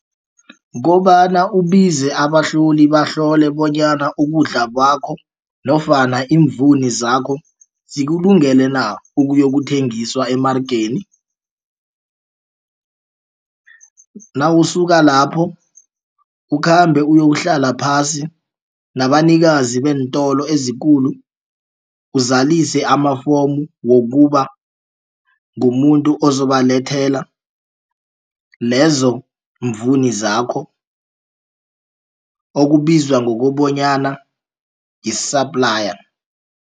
Kobana ubize abahloli bahlole bonyana ukudla kwakho nofana iimvuni zakho zikulungele na ukuyokuthengiswa emaregeni. Nawusuka lapho ukhambe uyokuhlala phasi nabanikazi beentolo ezikulu uzalise amafomu wokuba ngumuntu ozobalethela lezo mvuni zakho okubizwa ngokobanyana yi-supply.